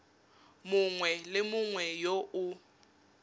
mongwe le mongwe yo o